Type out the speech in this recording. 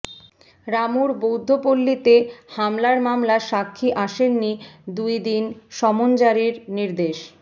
রামুর বৌদ্ধপল্লিতে হামলার মামলা সাক্ষী আসেননি দুই দিন সমন জারির নির্দেশ